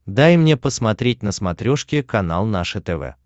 дай мне посмотреть на смотрешке канал наше тв